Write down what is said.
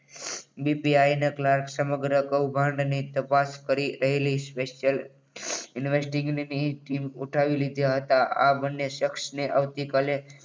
BP આઈના clerk સમગ્ર કાંડની તપાસ કરી રહેલી સ્પેશિયલ ઇન્વેસ્ટની ટીમ ઉઠાવી લીધા હતા. આ બંને શખ્સ આવતીકાલે